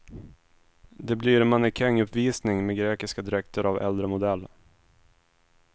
Det blir mannekänguppvisning med grekiska dräkter av äldre modell.